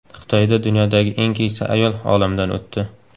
Xitoyda dunyodagi eng keksa ayol olamdan o‘tdi.